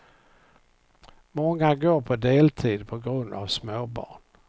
Många går på deltid på grund av småbarn.